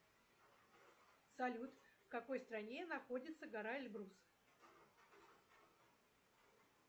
салют в какой стране находится гора эльбрус